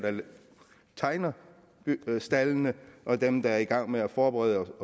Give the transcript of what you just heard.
tegner staldene og at dem der er i gang med at forberede